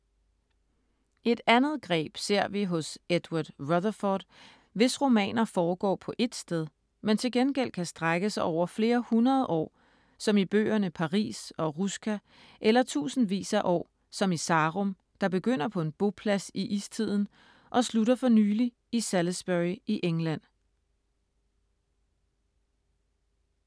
Et andet greb ser vi hos Edward Rutherfurd, hvis romaner foregår på ét sted, men til gengæld kan strække sig over flere hundrede år som i bøgerne Paris og Russka eller tusindvis af år som i Sarum, der begynder på en boplads i istiden og slutter for nylig i Salisbury i England.